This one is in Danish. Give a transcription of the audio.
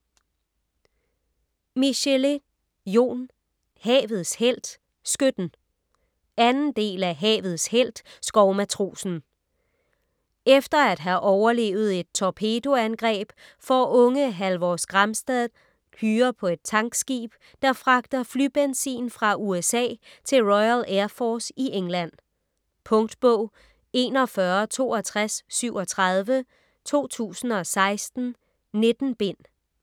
Michelet, Jon: Havets helt - skytten 2. del af Havets helt - skovmatrosen. Efter at have overlevet et torpedoangreb får unge Halvor Skramstad hyre på et tankskib, der fragter flybenzin fra USA til Royal Air Force i England. Punktbog 416237 2016. 19 bind.